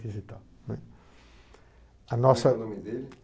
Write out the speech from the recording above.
coisa e tal, né. A nossa. Qual é o nome dele?